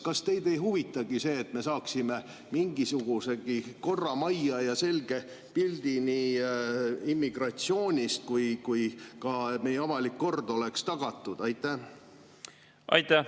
Kas teid ei huvitagi, et me saaksime mingisugusegi korra majja ja selge pildi nii immigratsioonist kui ka sellest, et meie avalik kord oleks tagatud?